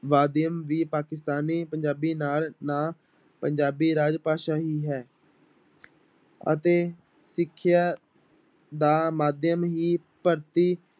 ਮਾਧਿਅਮ ਵੀ ਪਾਕਿਸਤਾਨੀ ਪੰਜਾਬੀ ਨਾਲ ਨਾ ਪੰਜਾਬੀ ਰਾਜ ਭਾਸ਼ਾ ਹੀ ਹੈ ਅਤੇ ਸਿੱਖਿਆ ਦਾ ਮਾਧਿਅਮ ਹੀ ਭਾਰਤੀ